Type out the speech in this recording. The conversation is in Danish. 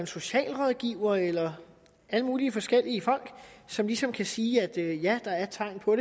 socialrådgiver eller alle mulige forskellige folk som ligesom kan sige at der er tegn på